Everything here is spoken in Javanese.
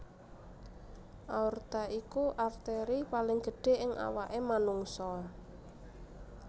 Aorta iku arteri paling gedhé ing awaké manungsa